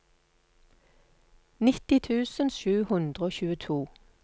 nitti tusen sju hundre og tjueto